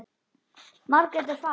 Margrét er farin.